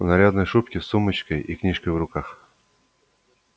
в нарядной шубке с сумочкой и книжкой в руках